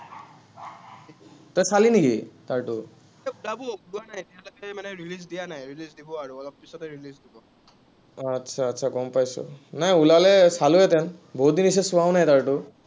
তই চালি নেকি, তাৰটো? आतछा आतछा গম পাইছো। নাই ওলালে চালোহেতেন। বহুতদিন হৈছে, চোৱাও নাই তাৰটো।